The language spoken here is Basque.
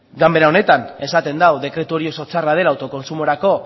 ganbera honetan esaten da hau dekretu hori oso txarra dela autokontsumorako